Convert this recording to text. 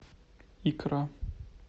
икра